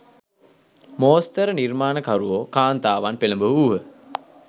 මෝස්තර නිර්මාණකරුවෝ කාන්තාවන් පෙළඹවූහ